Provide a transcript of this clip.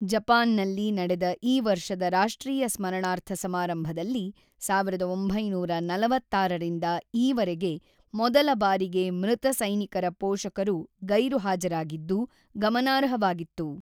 ಜಪಾನ್‌ನಲ್ಲಿ ನಡೆದ ಈ ವರ್ಷದ ರಾಷ್ಟ್ರೀಯ ಸ್ಮರಣಾರ್ಥ ಸಮಾರಂಭದಲ್ಲಿ ೧೯೪೬ ರಿಂದ ಈವರೆಗೆ ಮೊದಲ ಬಾರಿಗೆ ಮೃತ ಸೈನಿಕರ ಪೋಷಕರು ಗೈರು ಹಾಜರಾಗಿದ್ದು ಗಮನಾರ್ಹವಾಗಿತ್ತು.